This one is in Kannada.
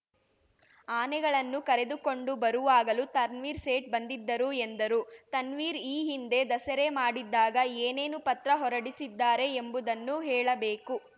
ಆನೆಗಳನ್ನು ಕರೆದುಕೊಂಡು ಬರುವಾಗಲೂ ತನ್ವೀರ್‌ ಸೇಠ್‌ ಬಂದಿದ್ದರು ಎಂದರು ತನ್ವೀರ್‌ ಈ ಹಿಂದೆ ದಸರೆ ಮಾಡಿದ್ದಾಗ ಏನೇನು ಪತ್ರ ಹೊರಡಿಸಿದ್ದಾರೆ ಎಂಬುದನ್ನು ಹೇಳಬೇಕು